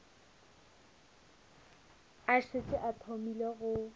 a šetše a thomile go